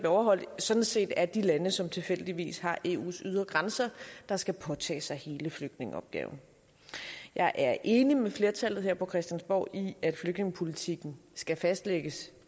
overholdt sådan set er de lande som tilfældigvis har eus ydre grænser der skal påtage sig hele flygtningeopgaven jeg er enig med flertallet her på christiansborg i at flygtningepolitikken skal fastlægges